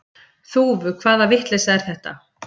Þúfu hvaða vitleysa er þetta!